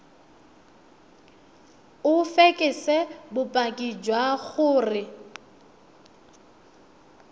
o fekese bopaki jwa gore